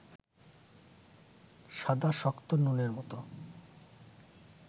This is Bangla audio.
সাদা শক্ত নুনের মতো